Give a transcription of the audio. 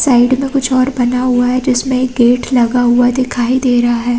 Side में कुछ और बना हुआ है जिसमे एक गेट लगा हुआ दिखाई दे रहा है।